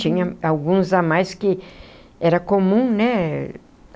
Tinha alguns a mais que era comum, né?